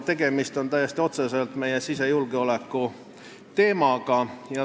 Tegemist on täiesti otseselt meie sisejulgeoleku teemaga.